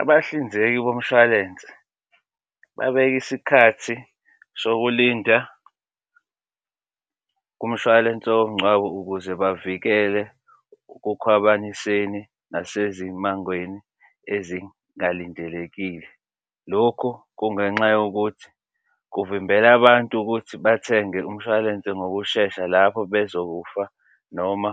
Abahlinzeki bomshwalense babeka isikhathi sokulinda kumshwalense womngcwabo ukuze bavikele ekukhwabaniseni nasezimangweni ezingalindelekile. Lokhu kungenxa yokuthi kuvimbela abantu ukuthi bathenge umshwalense ngokushesha lapho bezokufa noma